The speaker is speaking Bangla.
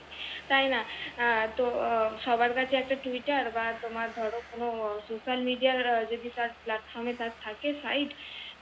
তাই না? আহ তো সবার কাছে একটা TWITTER বা তোমার ধর কোন SOCIALMIDEA যদি তার PLATFORM এ থাকে SIDE